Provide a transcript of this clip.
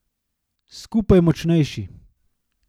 Skupaj močnejši.